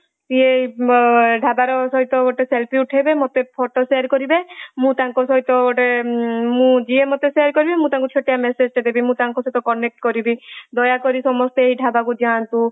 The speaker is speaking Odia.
ସେ ଢାବର ସହିତ ଗୋଟେ selfie ଉଠେଇବେ ମତେ photo share କରିବେ ମୁଁ ତାଙ୍କ ସହିତ ଗୋଟେ ମୁଁ ଯିଏ ମତେshare କରିବେ ମୁଁ ତାଙ୍କୁ ଗୋଟେ ଛୋଟିଆ messageଟା ଦେବି। ମୁଁ ତାଙ୍କ ସହିତ connect କରିବି। ଦୟାକରି ସମସ୍ତେ ଏଇ ଢାବାକୁ ଯାଅନ୍ତୁ।